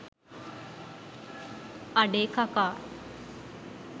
අඩේ කකා